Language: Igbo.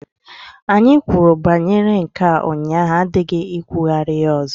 Anyị kwuru banyere nke a ụnyaahụ adịghị ikwugharị ya ọzọ!